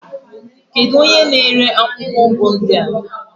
Kedu onye na-ere akwụkwọ ụgụ ndị a?